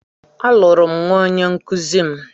A lụrụ m nwa onyenkụzi m.